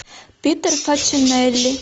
питер фачинелли